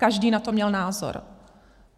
Každý na to měl názor.